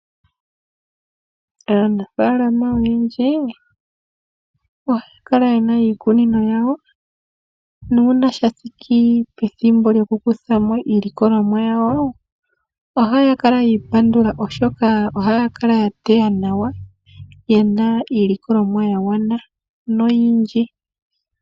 Aanafaalama oyendji oha ya kala yena iikunino yawo nuuna shathiki pethimbo lokukuthamo iilikolomwa yawo, ohaya kala yi ipandula oshoka ohaya kala ya teya nawa, ye na iilikolomwa yagwana noyindji